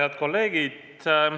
Head kolleegid!